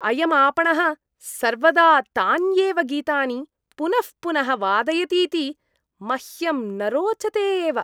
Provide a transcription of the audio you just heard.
अयम् आपणः सर्वदा तान्येव गीतानि पुनः पुनः वादयतीति मह्यं न रोचते एव।